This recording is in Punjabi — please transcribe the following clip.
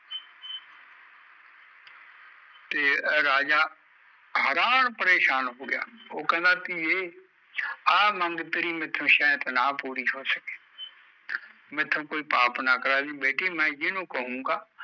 ਤੇ ਰਾਜਾ ਹੈਰਾਨ ਪਰੇਸ਼ਾਨ ਹੋਗਿਆ, ਉਹ ਕਹਿੰਦਾ ਧੀਏ ਆਹ ਮੰਗ ਤੇਰੀ ਮੈਥੋਂ ਸ਼ੈਦ ਨਾ ਪੂਰੀ ਹੋ ਸਕੇ ਮੈਥੋਂ ਕੋਈ ਪਾਪ ਨਾ ਕਰਾਈ ਬੇਟੀ ਮੈਂ ਜਿਹਨੂੰ ਕਹੂੰਗਾ